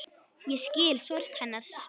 Ég skil sorg hennar.